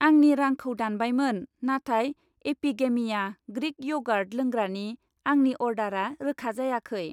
आंनि रांखौ दानबायमोन, नाथाय एपिगेमिया ग्रिक यगार्ट लोंग्रानि आंनि अर्डारा रोखा जायाखै।